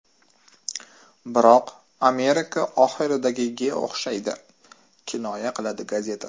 Biroq Amerika oxiridagiga o‘xshaydi”, kinoya qiladi gazeta.